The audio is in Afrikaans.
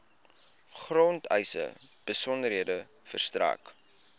grondeise besonderhede verstrek